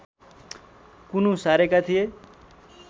कुनु सारेका थिए